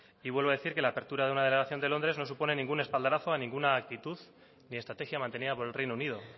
y vuelvo a decir que la apertura de una delegación en londres no supone ningún espaldarazo a ninguna actitud ni estrategia mantenida por el reino unido